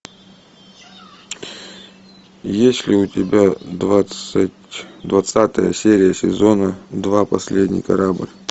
есть ли у тебя двадцатая серия сезона два последний корабль